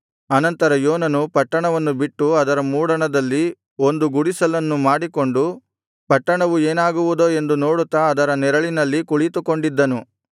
ಅನಂತರ ಯೋನನು ಪಟ್ಟಣವನ್ನು ಬಿಟ್ಟು ಅದರ ಮೂಡಣದಲ್ಲಿ ಒಂದು ಗುಡಿಸಲನ್ನು ಮಾಡಿಕೊಂಡು ಪಟ್ಟಣವು ಏನಾಗುವುದೋ ಎಂದು ನೋಡುತ್ತಾ ಅದರ ನೆರಳಿನಲ್ಲಿ ಕುಳಿತುಕೊಂಡಿದ್ದನು